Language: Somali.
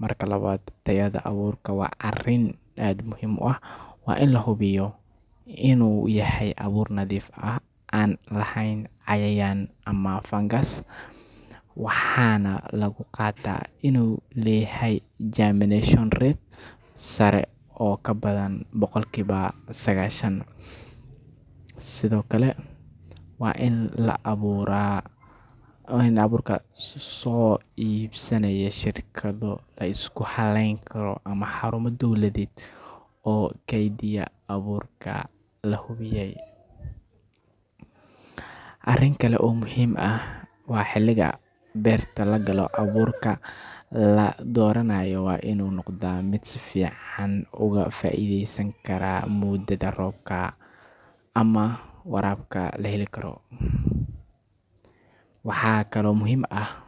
Marka labaad, tayada abuurka waa arrin aad muhiim u ah—waa in la hubiyaa inuu yahay abuur nadiif ah, aan lahayn cayayaan ama fangas, waxaana lagu gartaa inuu leeyahay germination rate sare oo ka badan boqolkiiba sagaashan. Sidoo kale, waa in abuurka laga soo iibsanayaa shirkado la isku halleyn karo ama xarumo dowladeed oo kaydiya abuurka la hubiyay. Arrin kale oo muhiim ah waa xilliga beerta la galo; abuurka la dooranayo waa inuu noqdaa mid si fiican uga faa'iideysan kara muddada roobka ama waraabka la heli karo. Waxaa kaloo muhiim ah.